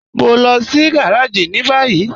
Mọ̀ n lọ sí gàràjì ni bayí